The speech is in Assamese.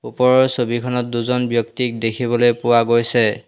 ওপৰৰ ছবিখনত দুজন ব্যক্তিক দেখিবলৈ পোৱা গৈছে।